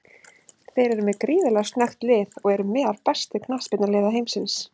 Þeir eru með gríðarlega snöggt lið og eru meðal bestu knattspyrnuliða heimsins.